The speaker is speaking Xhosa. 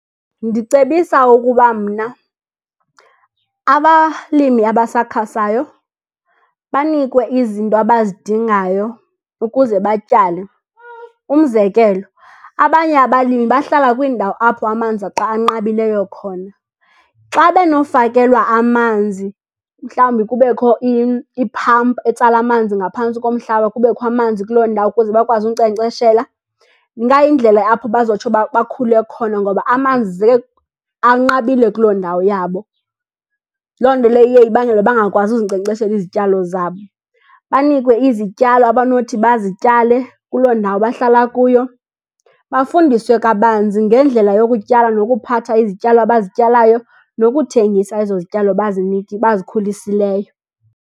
Ndicebisa ukuba mna abalimi abasakhasayo banikwe izinto abazidingayo ukuze batyale. Umzekelo, abanye abalimi bahlala kwiindawo apho amanzi anqabileyo khona. Xa benofakelwa amanzi, mhlawumbi kubekho i-pump etsala amanzi ngaphantsi komhlaba kubekho amanzi kuloo ndawo ukuze bakwazi unkcenkceshela, ingayindlela apho bazotsho bakhule khona. Ngoba amanzi anqabile kuloo ndawo yabo, loo nto leyo iye ibangele bangakwazi uzinkcenkceshela izityalo zabo. Banikwe izityalo abanothi bazityale kuloo ndawo bahlala kuyo, bafundiswe kabanzi ngendlela yokutyala nokuphatha izityalo abazityalayo, nokuthengisa ezo zityalo bazikhulisileyo.